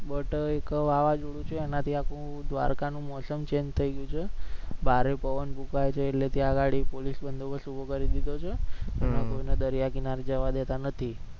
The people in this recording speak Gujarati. બટ એક વાવાઝોડું છે એનાથી આખું દ્વારકા નું મોસમ change થઈ ગયો છે. ભારે પવન ફૂકાયો છે એટલે ત્યાં આગળી પોલીસ બંદોબસ્ત ઉભો કરી દીધુ છે અને કોઈ ને દરિયાકીનારે જવા દેતા નથી.